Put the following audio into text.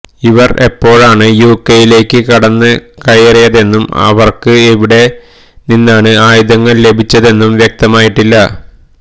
ഇവർ എപ്പോഴാണ് യുകെയിലേക്ക് കടന്ന് കയറിയതെന്നും ഇവർക്ക് എവിടെ നിന്നാണ് ആയുധങ്ങൾ ലഭിച്ചതെന്നും വ്യക്തമായിട്ടില്ല